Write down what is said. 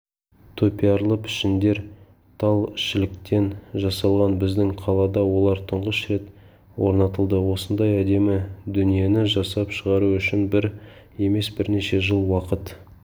топиарлы пішіндер тал-шіліктен жасалған біздің қалада олар тұңғыш рет орнатылды осындай әдемі дүниені жасап шығару үшін бір емес бірнеше жыл уақыт